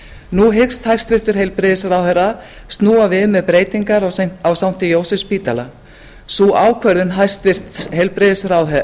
nú hyggst hæstvirtur heilbrigðisráðherra snúa við með breytingar á sankti jósefsspítala sú ákvörðun hæstvirtur heilbrigðisráðherra